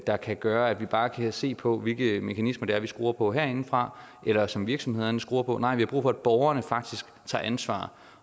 der kan gøre at vi bare kan se på hvilke mekanismer vi skruer på herindefra eller som virksomhederne skruer på nej vi har brug for at borgerne faktisk tager ansvar